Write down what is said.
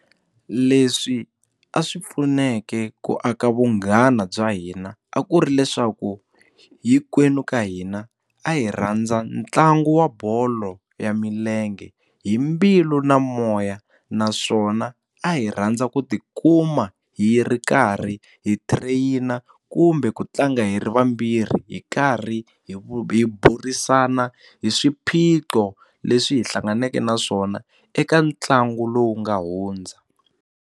Leswi a swi pfuneke ku aka vunghana bya hina a ku ri leswaku hinkwenu ka hina a hi rhandza ntlangu wa bolo ya milenge hi mbilu na moya naswona a hi rhandza ku tikuma hi ri karhi hi trainer kumbe ku tlanga hi ri vambirhi hi karhi hi burisana hi swiphiqo leswi hi hlanganaka na swona eka ntlangu lowu nga hundza.